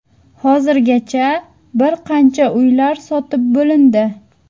Hozirgacha bir qancha uylar sotib bo‘lindi.